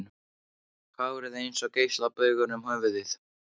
Hárið eins og geislabaugur um höfuðið.